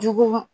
Juguw